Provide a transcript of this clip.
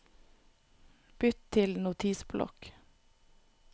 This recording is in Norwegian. bytt til Notisblokk